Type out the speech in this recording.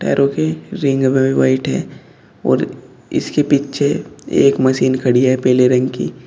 पैरों के रिंग में भी व्हाइट है और इसके पीछे एक मशीन खड़ी है पेले रंग की।